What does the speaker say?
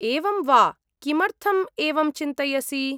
एवं वा। किमर्थम् एवं चिन्तयसि?